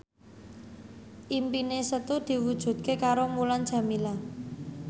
impine Setu diwujudke karo Mulan Jameela